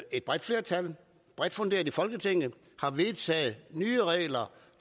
et bredt flertal i folketinget har vedtaget nye regler